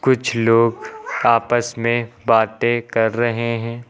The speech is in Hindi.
कुछ लोग आपस में बातें कर रहे हैं।